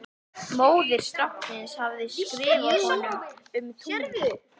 Móðir stráksins hafði skrifað honum um tunglið.